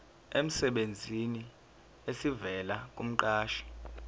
emsebenzini esivela kumqashi